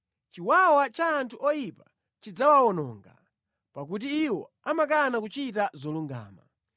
Chiwawa cha anthu oyipa chidzawawononga, pakuti iwo amakana kuchita zolungama.